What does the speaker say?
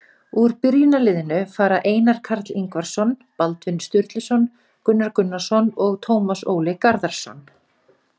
Úr byrjunarliðinu fara Einar Karl Ingvarsson, Baldvin Sturluson, Gunnar Gunnarsson og Tómas Óli Garðarsson.